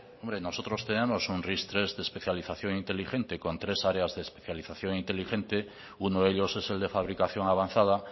hombre nosotros tenemos un ris tres de especialización inteligente con tres áreas de especialización inteligente uno de ellos es el de fabricación avanzada